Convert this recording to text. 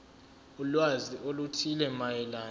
ulwazi oluthile mayelana